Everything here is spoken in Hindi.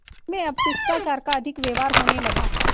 उनमें अब शिष्टाचार का अधिक व्यवहार होने लगा